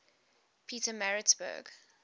pietermaritzburg